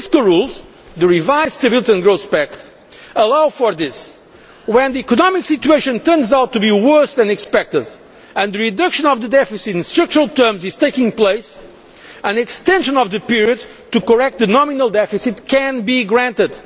Our fiscal rules, the revised Stability and Growth Pact, allow for this when the economic situation turns out to be worse than expected and the reduction of the deficit in structural terms is taking place, an extension of the period to correct a nominal deficit can be granted.